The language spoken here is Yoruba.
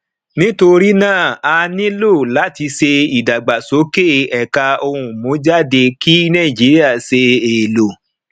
nítorí náà a nílò láti ṣe ìdàgbàsókè ẹka ohun mú jáde kí nàìjíríà ṣe èlò